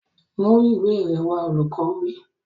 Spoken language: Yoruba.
Mú ìwé rẹ wá! Olùkọ́ wí.